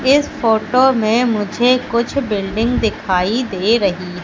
इस फोटो में मुझे कुछ बिल्डिंग दिखाई दे रही--